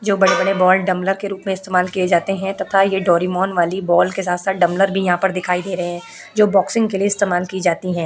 जो बड़े-बड़े बॉल डमलर के रूप में इस्तेमाल किए जाते हैं तथा यह डोरेमोन वाली बॉल के साथ-साथ डमलर भी यहाँ पर दिखाईं दे रहे हैं जो बॉक्सिंग के लिए इस्तेमाल की जाती है।